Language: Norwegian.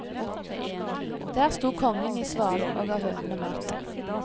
Der sto kongen i svalen og ga hønene mat.